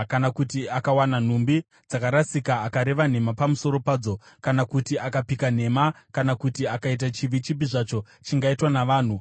kana kuti akawana nhumbi dzakarasika akareva nhema pamusoro padzo, kana kuti akapika nhema kana kuti akaita chivi chipi zvacho chingaitwa navanhu,